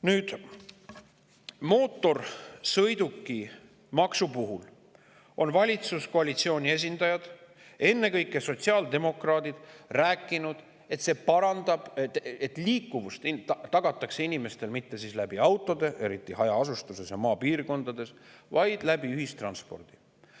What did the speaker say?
Nüüd, mootorsõidukimaksu puhul on valitsuskoalitsiooni esindajad, ennekõike sotsiaaldemokraadid, rääkinud, et liiku tagatakse inimestele mitte autodega, eriti hajaasustuses ja maapiirkondades, vaid ühistranspordiga.